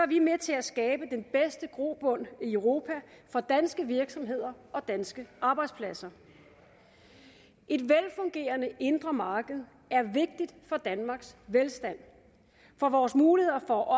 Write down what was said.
vi med til at skabe den bedste grobund i europa for danske virksomheder og danske arbejdspladser et velfungerende indre marked er vigtigt for danmarks velstand for vores muligheder for at